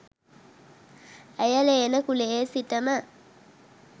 ඇය ලේන කුලයේ සිටම